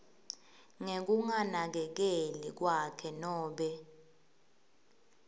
ngekunakekeli kwakhe nobe